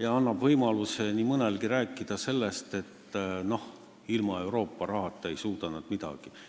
ja annab nii mõnelegi võimaluse rääkida sellest, et ilma Euroopa rahata ei suuda nad midagi.